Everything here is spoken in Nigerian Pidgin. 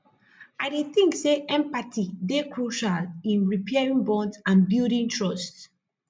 i dey think say empathy dey crucial in repairing bonds and building trust